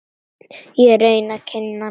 Ég reyni að kyngja mínu.